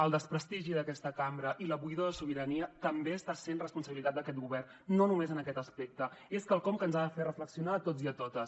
el desprestigi d’aquesta cambra i la buidor de sobirania també està sent responsabilitat d’aquest govern no només en aquest aspecte i és quelcom que ens ha de fer reflexionar a tots i a totes